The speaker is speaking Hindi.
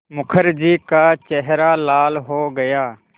मुखर्जी का चेहरा लाल हो गया